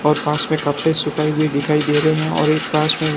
और पास में कपड़े सुखाए हुए दिखाई दे रहे हैं और एक पास में--